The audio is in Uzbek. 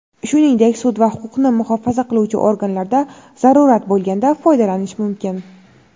shuningdek sud va huquqni muhofaza qiluvchi organlarda zarurat bo‘lganda foydalanish mumkin.